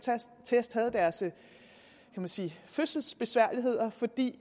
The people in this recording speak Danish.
test havde deres fødselsbesværligheder fordi